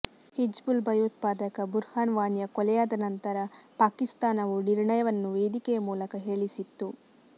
ಹಿಜ್ಬುಲ್ ಭಯೋತ್ಪಾದಕ ಬುರ್ಹನ್ ವಾನಿಯ ಕೊಲೆಯಾದ ನಂತರ ಪಾಕಿಸ್ತಾನವು ನಿರ್ಣಯವನ್ನು ವೇದಿಕೆಯ ಮೂಲಕ ಹೇಳಿಸಿತ್ತು